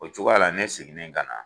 O cogoya la ne siginnen ka na